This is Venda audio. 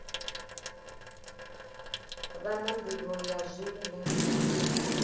vha na nḓivho ya zwine